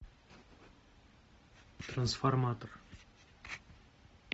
трансформатор